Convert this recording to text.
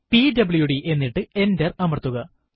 PWD എന്നിട്ട് enter അമർത്തുക